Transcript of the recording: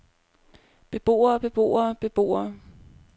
beboere beboere beboere